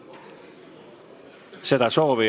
Ma tänan teid tänase panuse eest siin suures saalis!